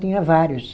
Tinha vários.